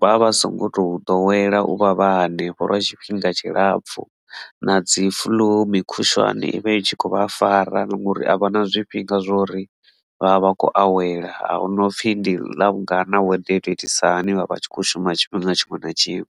vha vha songo to ḓowela u vha vha hanefho lwa tshifhinga tshilapfhu na dzi flu mukhushwane i vha i tshi khou vha fara ngori a vha na zwifhinga zwori vhavha vha khou awela ahuna u pfhi ndi ḽavhungana weather ito itisani vha vha tshi kho shuma tshifhinga tshiṅwe na tshiṅwe.